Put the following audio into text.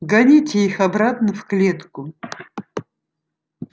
гоните их обратно в клетку